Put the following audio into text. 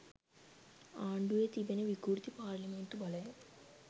ආණ්ඩුවේ තිබෙන විකෘති පාර්ලිමේන්තු බලයෙන්